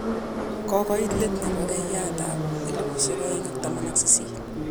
Kikoiit leet nepo keyitab 2018.